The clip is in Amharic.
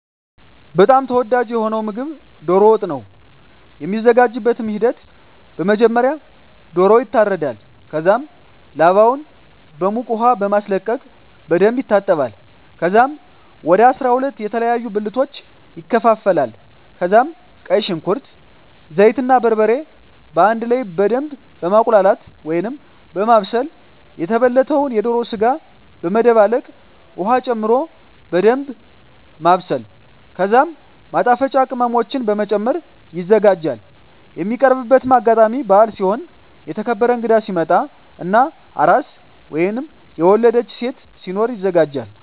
በጣም ተወዳጂ የሆነዉ ምግብ ዶሮ ወጥ ነዉ። የሚዘጋጅበትም ሂደት በመጀመሪያ ዶሮዉ ይታረዳል ከዛም ላባዉን በዉቅ ዉሃ በማስለቀቅ በደንብ ይታጠባል ከዛም ወደ 12 የተለያዩ ብልቶች ይከፋፈላል ከዛም ቀይ ሽንኩርት፣ ዘይት እና በርበሬ በአንድ ላይ በደምብ በማቁላላት(በማብሰል) የተበለተዉን የዶሮ ስጋ በመደባለቅ ዉሀ ጨምሮ በደንምብ ማብሰል ከዛም ማጣፈጫ ቅመሞችን በመጨመር ይዘጋጃል። የሚቀርብበትም አጋጣሚ በአል ሲሆን፣ የተከበረ እንግዳ ሲመጣ እና አራስ (የወለደች ሴት) ሲኖር ይዘጋጃል።